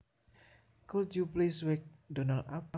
Could you please wake Donald up